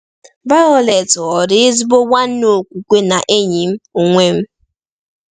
Violet ghọrọ ezigbo nwanna okwukwe na enyi m onwe m!